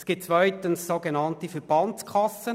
Es gibt auf der anderen Seite sogenannte Verbandskassen.